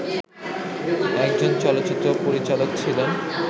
একজন চলচ্চিত্র পরিচালক ছিলেন